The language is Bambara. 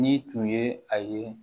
Ni tun ye a ye